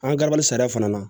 An garabali sariya fana na